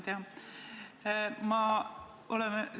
Hea ettekandja!